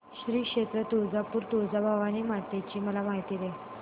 श्री क्षेत्र तुळजापूर तुळजाभवानी माता ची मला माहिती दे